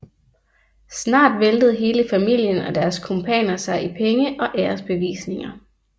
Snart væltede hele familien og deres kumpaner sig i penge og æresbevisninger